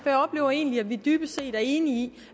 jeg oplever egentlig at vi dybest set er enige